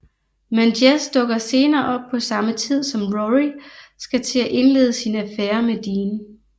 Men Jess dukker senere op på samme tid som Rory skal til at indlede sin affære med Dean